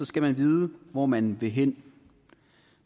skal man vide hvor man vil hen